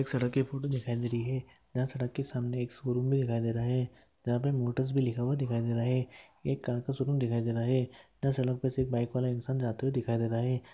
एक सड़क की फोटू दिखाई दे रही है जहा सड़क के सामने एक स्कूल भी दिखाई दे रहा है जहा पे मोटर्स भी लिखा हुआ दिखाई दे रहा है एक कार का शोरूम दिखाई दे रहा है यहाँ सड़क पे से एक बाइक वाला इंसान जाते हुए दिखाई दे रहा है।